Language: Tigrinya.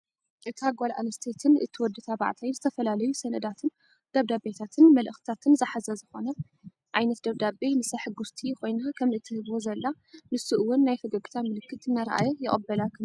እታ ጓልኣነስተይትን እቲ ወዲ ተባዕታይ ዝተፈላለዩ ሰነዳትን ደብዳቤታትን መልእክቲታትን ዝሓዘ ዝኾነ ዓይነት ደብዳቤ ንሳ ሕጉስቲ ሆይና ከምእትህቦ ዘላ ንሱ እውን ናይ ፈገግታ ምልክት እናርኣየ ይቅበላ ከም ዘሎ የመላክት፡፡